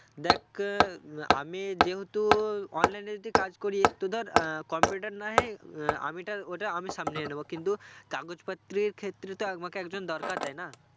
দেখ আহ আমি যেহেতু online এ যদি কাজ করি একটু ধর আহ computer না হয় আহ আমি টা ওটা আমি সামলিয়ে নেবো কিন্তু কাগজ পত্রীর ক্ষেত্রে তো আমাকে তো একজন দরকার তাই না?